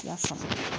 I y'a faamu